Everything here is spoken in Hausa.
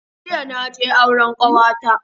Jiya naje auren kawata